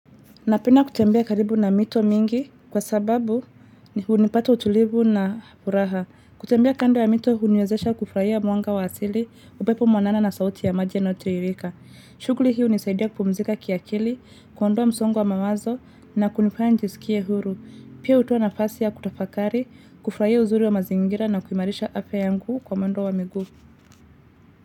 Napenda kutembea karibu na mito mingi kwa sababu unipata utulivu na furaha. Kutembea kando ya mito uniwezesha kufraia mwanga wa asili upepo mwanana na sauti ya maji yanaotirika. Shuguli hii unisaidia kupumzika kiakili, kuondoa msongo wa mawazo na kunifanya nijisikie huru. Pia utowa nafasi ya kutafakari, kufraia uzuri wa mazingira na kuimarisha afa yangu kwa mwendo wa migu.